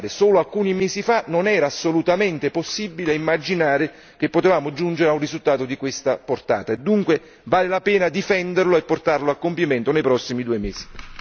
Lo voglio ancora una volta ricordare, solo alcuni mesi fa non era assolutamente possibile immaginare che potessimo giungere a un risultato di questa portata, dunque vale la pena difenderlo e portarlo a compimento nei prossimi due mesi.